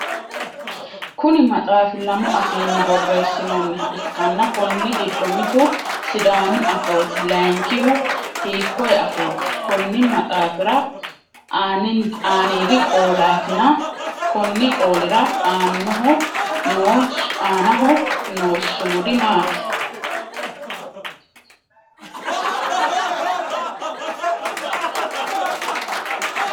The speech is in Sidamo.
Kunni maxaafi lamu afiinni boreesinoonniha ikanna konni gido mitu sidaamu afooti layinkihu hiikoye afooti? Konni maxaafira aanniidi qoolaatinna konni qoolira aannaho noo sumudi maati?